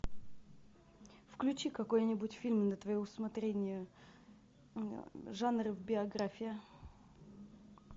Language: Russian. включи какой нибудь фильм на твое усмотрение жанр биография